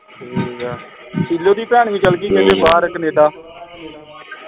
ਠੀਕ ਹੈ ਦੀ ਭੈਣ ਵੀ ਚੱਲ ਗਈ ਬਾਹਰ ਕਨੇਡਾ